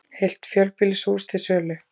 Heilt fjölbýlishús til sölu